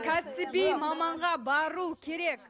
кәсіби маманға бару керек